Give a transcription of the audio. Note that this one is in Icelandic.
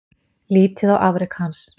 Lítið á afrek hans